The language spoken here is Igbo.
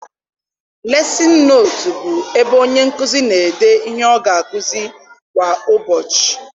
Lesịn nootu bụ ebe onye nkụzi n'ede ihe ọ ga akuzi kwa ụbọchị.